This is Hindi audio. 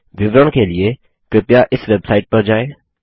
विवरण के लिए कृपया इस वेबसाइट पर जाएँ